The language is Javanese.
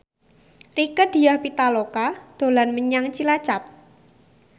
Rieke Diah Pitaloka dolan menyang Cilacap